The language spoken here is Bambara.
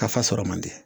Ka fa sɔrɔ man di